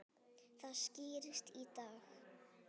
Það skýrist í dag.